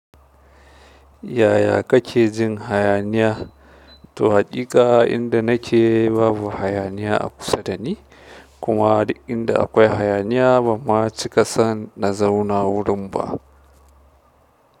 Yaya kake jin hayaniya? To haƙiƙa in da nake babu hayaniya a kusa da ni kuma duk inda akwai hayaniya ban fa cika san na zauna wurin ba.